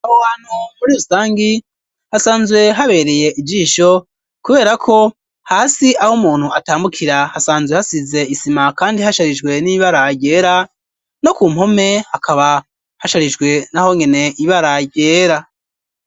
Aho hantu muri urusangi hasanzwe habereye ijisho, kubera ko hasi aho umuntu atambukira hasanzwe hasize isima, kandi hasharijwe n'ibara ryera ,no ku mpome hakaba hasharijwe naho nyene ibara ryera.